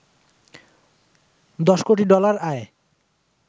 ১০ কোটি ডলার আয়